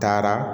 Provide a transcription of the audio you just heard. Taara